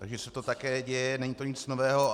Takže se to také děje, není to nic nového.